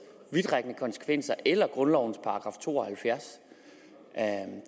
vidtrækkende konsekvenser eller grundlovens § to og halvfjerds